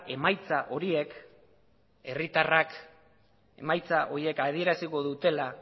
emaitza horiek adieraziko dutela